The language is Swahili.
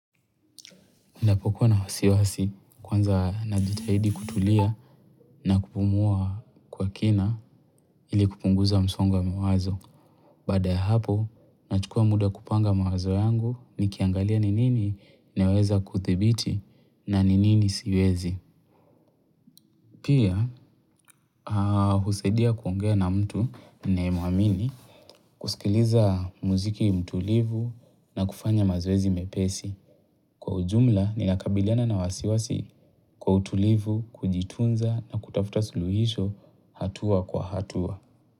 Napokuwa na wasiwasi kwanza najitahidi kutulia na kupumua kwa kina ili kupunguza msongo wa mawazo. Baada ya hapo, nachukua muda kupanga mawazo yangu ni kiangalia ni nini naweza kuthibiti na ni nini siwezi. Pia, husaidia kuongea na mtu naemuamini kusikiliza muziki mtulivu na kufanya mazoezi mepesi. Kwa ujumla, nina kabiliana na wasiwasi kwa utulivu, kujitunza na kutafuta suluhisho hatua kwa hatua.